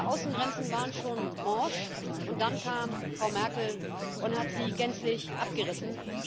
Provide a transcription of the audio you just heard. Diese Außengrenzen waren schon morsch, und dann kam Frau Merkel und hat sie gänzlich abgerissen.